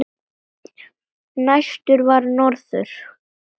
Næstur var norður.